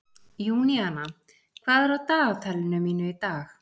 Júníana, hvað er á dagatalinu mínu í dag?